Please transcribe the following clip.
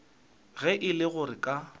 ge e le gore ka